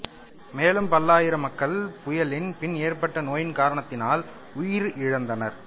மேலும் பல்லாயிரம் மக்கள் புயலின் பின் ஏற்பட்ட நோயின் காரணத்தால் உயிரிழந்தனர்